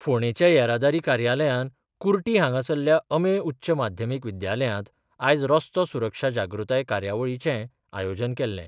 फोंडेंच्या येरादारी कार्यालयान कुर्टी हांगासरल्या अमेय उच्च माध्यमीक विद्यालयांत आयज रस्तो सुरक्षा जागृताय कार्यावळीचे आयोजन केल्ले.